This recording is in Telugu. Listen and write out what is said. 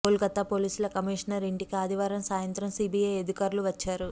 కోల్ కతా పోలీసు కమిషనర్ ఇంటికి ఆదివారం సాయంత్రం సిబిఐ అధికారులు వచ్చారు